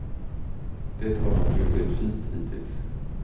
Det har han burit fint hittills.